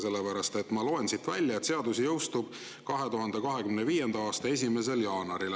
Sellepärast et ma loen siit välja, et seadus jõustub 2025. aasta 1. jaanuaril.